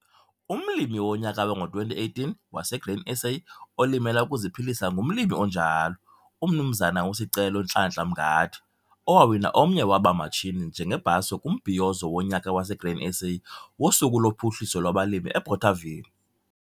Umlimi woNyaka wango-2018 wase-Grain SA oLimela ukuziPhilisa ngumlimi onjalo, uMnumzana uSicelo Nhlanhla Mngadi, owawina omnye waba matshini njengebhaso kuMbhiyozo woNyaka waseGrain SA woSuku loPhuhliso lwabaLimi eBothaville.